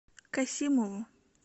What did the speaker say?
касимову